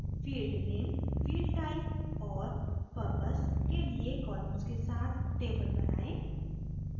field name field type और purpose के लिए columns के साथ table बनाएँ